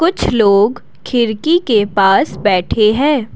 कुछ लोग खिड़की के पास बैठे हैं।